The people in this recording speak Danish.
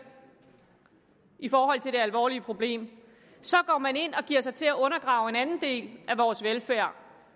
i forhold til det alvorlige problem så går man ind og giver sig til at undergrave en anden del af vores velfærd